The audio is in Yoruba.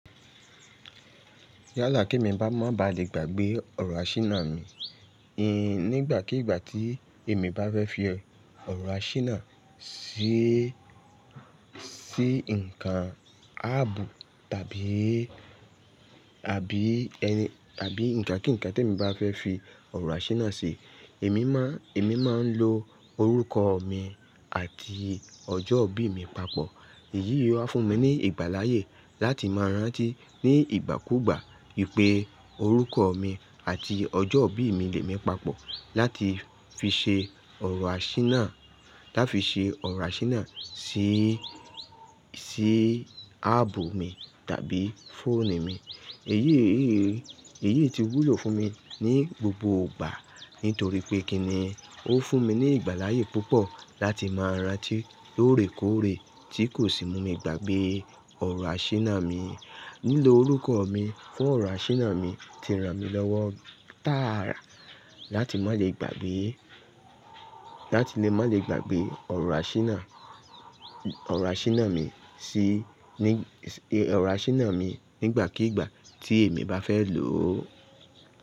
Yé àlà ki mi ba má ba le gbàgbé ọ̀rọ̀ àṣíná mi. Ni ìgbàkígbà tí èmi bá fẹ́ fi ọ̀rọ̀ àṣíná ṣí ńkan áàbù tàbí, àbí ǹkan kíǹkan tí èmi bá fẹ́ fi ọ̀rọ̀ àṣíná ṣe, èmi máa ń lo orúkọ mi àti ọjọ́ ìbí mi papọ̀. Èyí yóò fún mi ní ìgbáláyé láti máa rántí ní ìgbàkúùgbà wípé orúkọ mi àti ọjọ́ ìbí mi le mi papọ̀ láti fi ṣe ọ̀rọ̀ àṣíná, láti fi ṣe ọ̀rọ̀ àṣíná ṣí, ṣí ábù mi tàbí fóònù mi. Èyí ti wúlò fún mi ní gbogbo ìgbà nítorí pé kí ni ó fún mi ní ìgbáláyé púpọ̀ láti máa rántí lóòrèkóòrè tí kò sì mú mi gbàgbé ọ̀rọ̀ àṣíná mi. Lílo orúkọ mi fún ọ̀rọ̀ àṣíná mi ti ran mi lọ́wọ́ tààrà láti má le gbàgbé, láti lè má le gbàgbé ọ̀rọ̀ àṣíná, ọ̀rọ̀ àṣíná mi ṣí, ní, ọ̀rọ̀ àṣíná mi nígbàkígbà tí èmi bá fẹ́ lò ó.